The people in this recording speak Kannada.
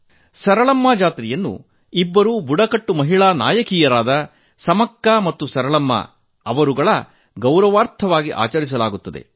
ಸರಳಮ್ಮ ಜಾತ್ರೆಯನ್ನು ಇಬ್ಬರು ಬುಡಕಟ್ಟು ಮಹಿಳಾ ನಾಯಕಿಯರಾದ ಸಮಕ್ಕಾ ಮತ್ತು ಸರಳಮ್ಮ ಅವರುಗಳ ಗೌರವಾರ್ಥವಾಗಿ ಆಚರಿಸಲಾಗುತ್ತದೆ